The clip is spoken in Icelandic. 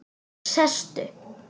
Sestu